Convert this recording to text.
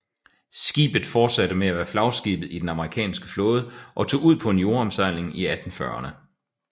Skibet fortsatte med at være flagskibet i den amerikanske flåde og tog ud på en jordomsejling i 1840erne